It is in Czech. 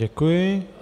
Děkuji.